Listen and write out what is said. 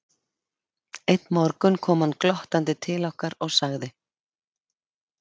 Einn morgun kom hann glottandi til okkar og sagði